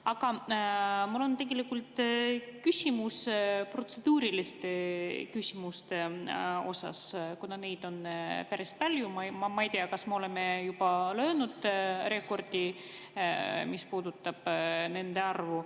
Aga mul on tegelikult küsimus protseduuriliste küsimuste kohta, kuna neid on päris palju ja ma ei tea, kas me oleme juba löönud rekordi, mis puudutab nende arvu.